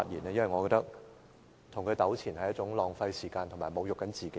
我認為跟他糾纏是一件浪費時間及侮辱自己的事。